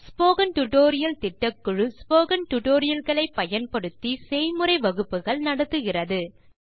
spoken tutorial திட்டக்குழு spoken tutorial களை பயன்படுத்தி செய்முறை வகுப்புகள் நடத்துகிறது